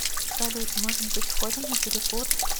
салют может быть сходим на перекур